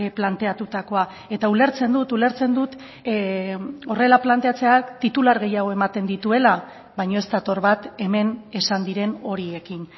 planteatutakoa eta ulertzen dut ulertzen dut horrela planteatzeak titular gehiago ematen dituela baina ez dator bat hemen esan diren horiekin